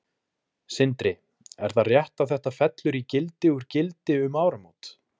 Sindri: Er það rétt að þetta fellur í gildi úr gildi um áramót?